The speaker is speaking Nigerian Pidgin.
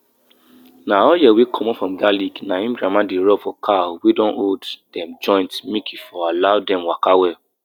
make you allow better weeds like clover grow small on top farm land to help bring nitrogen back inside di soil.